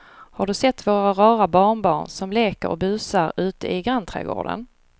Har du sett våra rara barnbarn som leker och busar ute i grannträdgården!